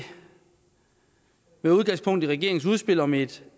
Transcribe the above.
med udgangspunkt i regeringens udspil om et